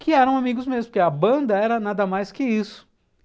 que eram amigos mesmo, porque a banda era nada mais que isso.